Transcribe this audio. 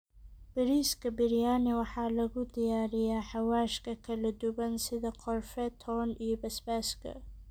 Bariiska Biryani waxaa lagu diyaariyaa xawaashka kala duwan sida qorfe, toon, iyo basbaaska.